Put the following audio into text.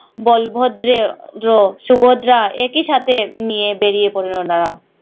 বলভদ্রে দ্ৰ সুভদ্রা একই সাথে নিয়ে বেরিয়ে পড়লো তারা